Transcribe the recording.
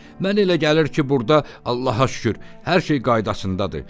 Mənə elə gəlir ki, burda Allaha şükür, hər şey qaydasındadır.